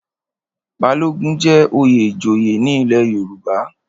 Balogun jẹ́ oyè ìjòyè ní ilé Yorùbá.